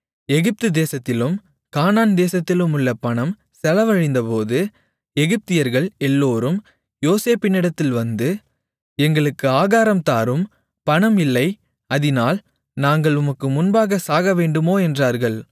எகிப்துதேசத்திலும் கானான்தேசத்திலுமுள்ள பணம் செலவழிந்தபோது எகிப்தியர்கள் எல்லோரும் யோசேப்பினிடத்தில் வந்து எங்களுக்கு ஆகாரம் தாரும் பணம் இல்லை அதினால் நாங்கள் உமக்கு முன்பாகச் சாகவேண்டுமோ என்றார்கள்